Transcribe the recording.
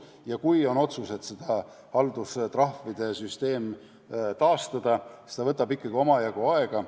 Ja kui on otsus, et haldustrahvide süsteem tuleb taastada, siis see võtab ikkagi omajagu aega.